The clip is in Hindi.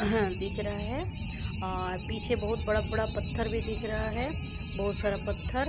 दिख रहा है और पीछे बहुत बड़ा बड़ा पत्थर भी दिख रहा है बहुत सारा पत्थर--